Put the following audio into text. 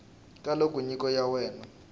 ka loko nyiko ya wena